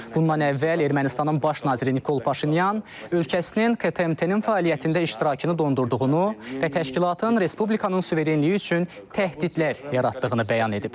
Bundan əvvəl Ermənistanın baş naziri Nikol Paşinyan ölkəsinin KMTT-nin fəaliyyətində iştirakını dondurduğunu və təşkilatın Respublikanın suverenliyi üçün təhdidlər yaratdığını bəyan edib.